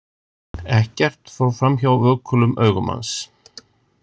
Ekkert fór framhjá vökulum augum hans.